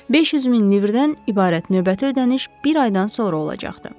500 min livrdən ibarət növbəti ödəniş bir aydan sonra olacaqdı.